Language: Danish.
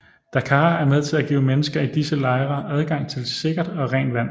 DACAAR er med til at give mennesker i disse lejre adgang til sikkert og rent vand